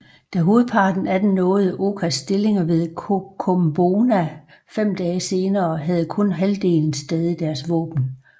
Da hovedparten af dem nåede Okas stillinger ved Kokumbona fem dage senere havde kun halvdelen stadig deres våben